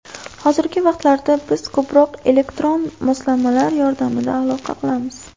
Hozirgi vaqtlarda biz ko‘proq elektron moslamalar yordamida aloqa qilamiz.